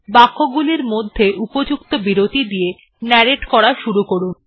বাক্যগুলির মধ্যে উপযুক্ত বিরতির দিয়ে নাররাতে করা শুরু করুন